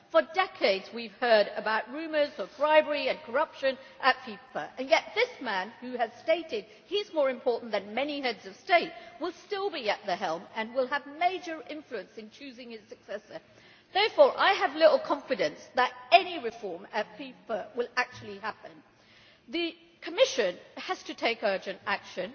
For decades we have heard rumours of bribery and corruption at FIFA and yet this man, who has stated that he is more important than many Heads of State, will still be at the helm and will have a major influence in choosing his successor. Therefore I have little confidence that any reform at FIFA will actually happen. The Commission has to take urgent action.